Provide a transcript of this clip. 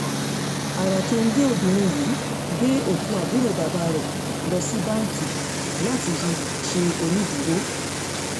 ara kẹ́ńgẹ́ obìnrin yìí gbé òkú àbúrò bàbá rẹ̀ lọ sí báńkì láti fi ṣe onídùúró